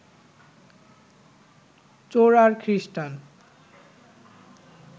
চোর আর খ্রীষ্টান